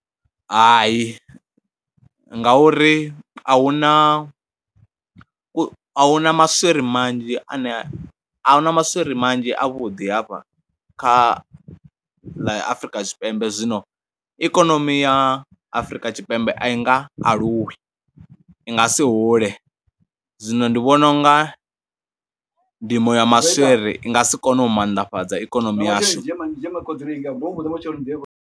Hayi ngauri a hu na, a hu na maswiri manzhi ane, a hu na maswiri manzhi avhuḓi hafha kha ḽa Afrika Tshipembe zwino ikonomi ya Afrika Tshipembe a i nga aluwi, i nga si hule, zwino ndi vhona u nga ndimo ya maswiri i nga si kone u maanḓafhadza ikonomi yashu.